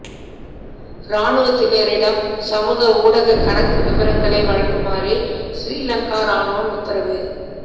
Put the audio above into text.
இராணுவத்தினரிடம் சமூக ஊடகக் கணக்கு விபரங்களைக் வழங்குமாறு சிறீலங்கா இராணுவம் உத்தரவு